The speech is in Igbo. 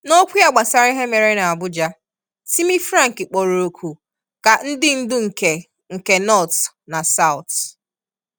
N’okwu ya gbasara ihe mere n'Abuja, Timi Frank kpọrọ oku ka ndị ndu nke nke North na South